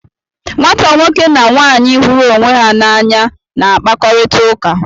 Nwata nwoke na nwaanyị hụrụ onwe ha n'anya na-akpakọrịta ụka.